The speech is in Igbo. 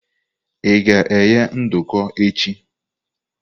Ị ga-eghe nduku echi?